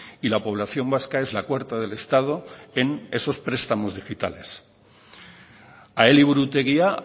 y la población vasca es la cuarta del estado en esos prestamos digitales a eliburutegia